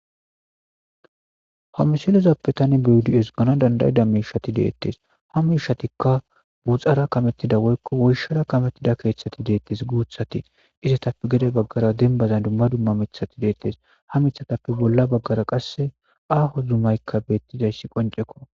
Homisilezappe tani biudi7es gana dandayida miishati deettes ha mishatikka buxara kamettida woykko woyshara kamettida keeththati deettes guuthati izetappe gede baggara dembazan dumma dumma mithati deettes ha mithatappe bolla baggara qasse aaho zumaykka beettizayssi qonceko.